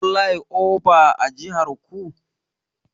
Kuna da plyova a jihar ku?